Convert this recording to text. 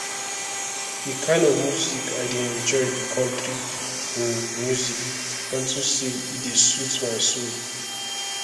the kin of music i dey enjoy be country um music unto say e dey soothe my soul